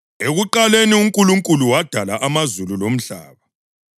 Ekuqaleni uNkulunkulu wadala amazulu lomhlaba.